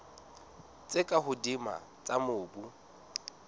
tse ka hodimo tsa mobu